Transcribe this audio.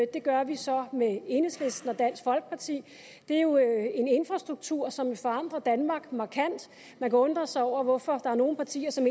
det gør vi så med enhedslisten og dansk folkeparti det er jo en infrastruktur som vil forandre danmark markant og man kan undre sig over hvorfor der er nogle partier som